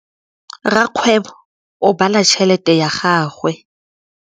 Rakgwêbô o bala tšheletê ya gagwe.